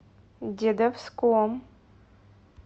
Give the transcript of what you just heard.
дедовском